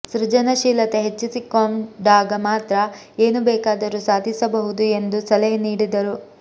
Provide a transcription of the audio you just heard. ಸೃಜನಶೀಲತೆ ಹೆಚ್ಚಿಸಿಕೊಂ ಡಾಗ ಮಾತ್ರ ಏನು ಬೇಕಾದರೂ ಸಾಧಿಸ ಬಹುದು ಎಂದು ಸಲಹೆ ನೀಡಿದರು